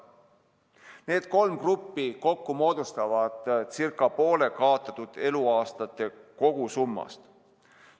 Need kolm gruppi kokku moodustavad ca poole kaotatud eluaastate kogusummast.